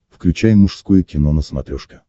включай мужское кино на смотрешке